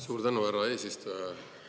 Suur tänu, härra eesistuja!